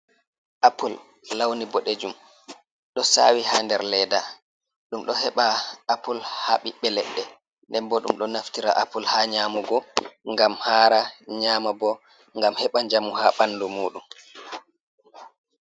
Apple lawni bodejum: Do sawi ha nder leda. Dum do heɓa apple ha biɓbe ledde. Nden bo dum do naftira apple ha nyamugo, ngam hara. Nyama bo, ngam heɓa njamu ha bandu mudum.